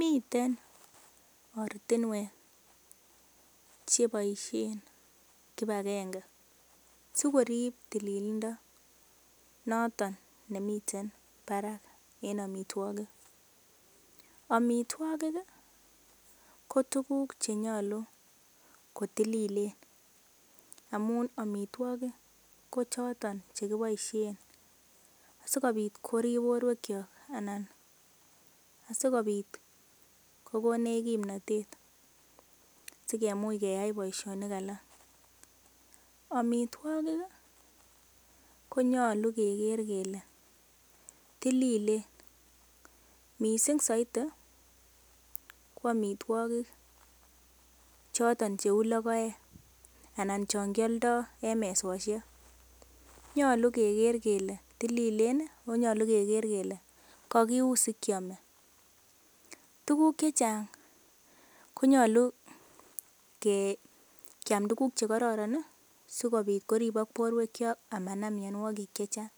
Miten ortinwek cheboisien kipagenge sikorib tililindo noton nemiten barak en amitwogik amitwogik ko tuguk che nyolu kotililien amun amitwogik kochoton che kiboisiien sikobit korip borwekyok. Asikobit kogonech kimnatet sikemuch keyai boisionik alak. Amitwogik ko nyolu keger kele tililen mising soiti ko amitwogik chotn cheu logoek anan chon kioldo en mesoshek. Nyolu keger kele tililen ago nyolu keger kele kogiun sikyome. Tuguk che chang konyolu kiyam tuguk che kororon sikobit koribok borwekyok ama nam mianwogik che chang.